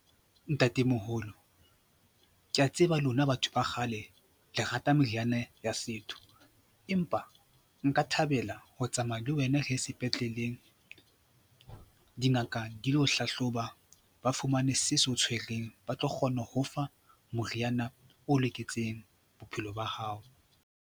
Ntatemoholo, ke a tseba lona batho ba kgale le rata meriana ya setho empa nka thabela ho tsamaya le wena re ye sepetlele dingaka di lo hlahloba, ba fumane se se o tshwereng, ba tlo kgona ho fa moriana o loketseng bophelo ba hao.